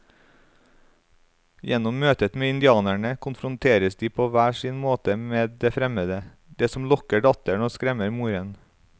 Gjennom møtet med indianerne konfronteres de på hver sin måte med det fremmede, det som lokker datteren og skremmer moren.